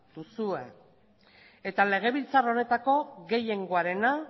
duzue eta legebiltzar honetako gehiengoarena